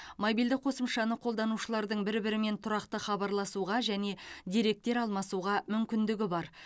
мобильді қосымшаны қолданушылардың бір бірімен тұрақты хабарласуға және деректер алмасуға мүмкіндігі бар